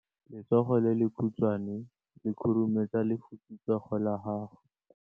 Letsogo le lekhutshwane le khurumetsa lesufutsogo la gago.